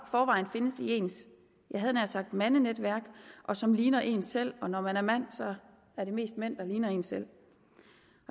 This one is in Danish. forvejen findes i ens jeg havde nær sagt mandenetværk og som ligner en selv og når man er mand så er det mest mænd der ligner en selv